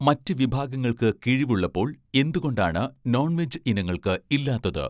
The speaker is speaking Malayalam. മറ്റ് വിഭാഗങ്ങൾക്ക് കിഴിവ് ഉള്ളപ്പോൾ എന്തുകൊണ്ടാണ് നോൺ വെജ് ഇനങ്ങൾക്ക് ഇല്ലാത്തത്?